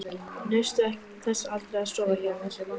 Naustu þess aldrei að sofa hjá mér?